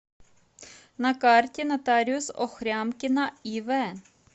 на карте нотариус охрямкина ив